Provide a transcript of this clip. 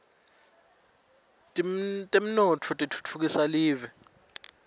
temnotfo titfutfukisa live